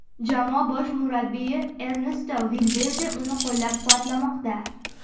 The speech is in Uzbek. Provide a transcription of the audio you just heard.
Jamoa bosh murabbiyi Ernesto Valverde uni qo‘llab-quvvatlamoqda.